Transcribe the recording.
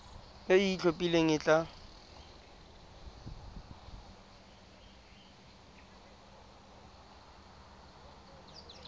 e e itlhophileng e tla